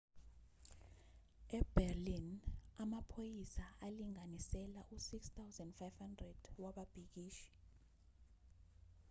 eberlin amaphoyisa alinganisela u-6,500 wababhikishi